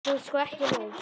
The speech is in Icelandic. En þú ert sko ekki laus.